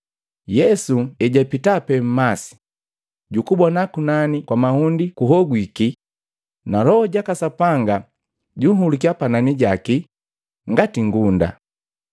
Yesu ejapita pe mmasi, jukubona kunani kwa mahundi kuhogwiki na Loho jaka Sapanga junhulukya panani jaki ngati ngunda.